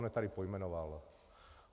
On je tady pojmenovává.